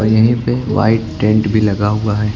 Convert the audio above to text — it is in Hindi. यहीं पे वाइट टेंट भी लगा हुआ है।